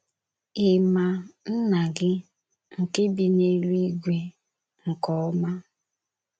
Ị̀ ma Nna gi nke bi n’Eluigwe nke Ọma?